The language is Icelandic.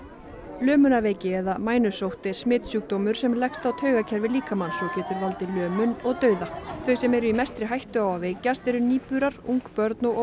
lömunarveiki eða mænusótt er smitsjúkdómur sem leggst á taugakerfi líkamans og getur valdið lömun og dauða þeir sem eru í mestri hættu á að veikjast eru nýburar ung börn og